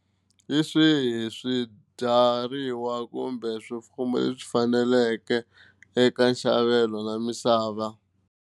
Hi swihi swibyariwa kumbe swifuwo leswi faneleke eka nxavelo na misava.